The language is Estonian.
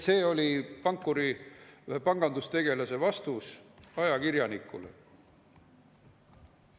" See oli pankuri, pangandustegelase vastus ajakirjanikule.